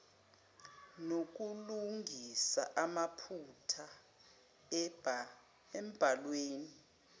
nokulungisa amaphutha embhalweni